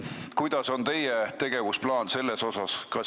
Milline on teie tegevusplaan selles osas?